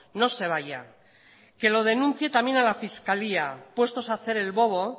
no se vaya que lo denuncie también a la fiscalía puestos a hacer el bobo